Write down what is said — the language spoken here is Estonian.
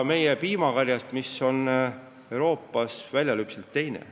Meie piimakari on oma keskmiselt piimaannilt Euroopas teine.